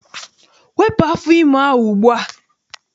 Wepụ afọ ime ahụ ugbua!